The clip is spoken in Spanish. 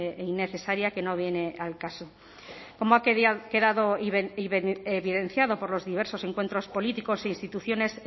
innecesaria que no viene al caso como ha quedado evidenciado por los diversos encuentros políticos e instituciones